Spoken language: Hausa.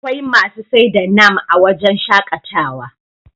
akwai masu sai da nam a wajen shaƙatawa